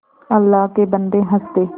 अल्लाह के बन्दे हंस दे